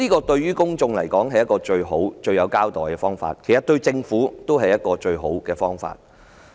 對公眾而言，這是最好的方法向他們作出交代，其實對政府來說也是最好的方法。